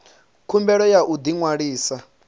khumbelo ya u ḓi ṅwalisa